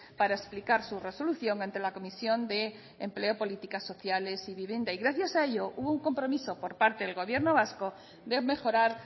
para explicar sus resolución ante la comisión de empleo políticas sociales y vivienda y gracias a ello hubo un compromiso del gobierno vasco de mejorar